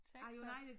Texas